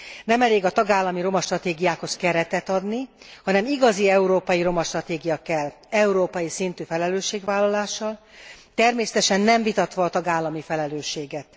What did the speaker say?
Nem elég a tagállami roma stratégiákhoz keretet adni, hanem igazi európai roma stratégia kell, európai szintű felelősségvállalással, természetesen nem vitatva a tagállami felelősséget.